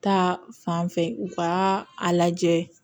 Ta fanfɛ u ka a lajɛ